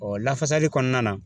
lafasali kɔnɔna na.